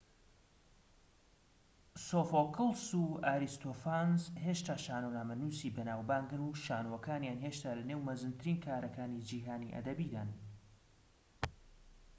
سۆفۆکڵس و ئاریستۆفانس هێشتا شانۆنامەنووسی بەناو بانگن و شانۆکانیان هێشتا لە نێو مەزنترین کارەکانی جیھانی ئەدەبدان